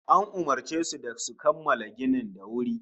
An umurce su da su kammala ginin da wuri